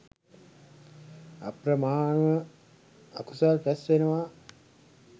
අප්‍රමාණව අකුසල් රැස් වෙනවා